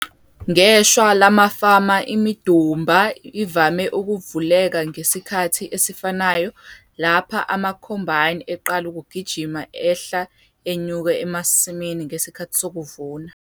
Ngeshwa lamafama imidumba ivame ukuvuleka ngesikhathi esifanayo lapha ama-combine eqala ukugijima ehla enyuka emasimini ngesikhathi sokuvuna.